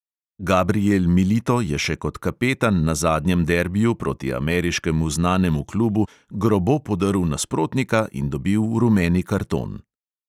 Gabrijel milito je še kot kapetan na zadnjem derbiju proti ameriškemu znanemu klubu grobo podrl nasprotnika in dobil rumeni karton.